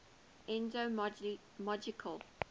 ethnological